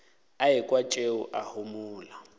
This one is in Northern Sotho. a ekwa tšeo a homola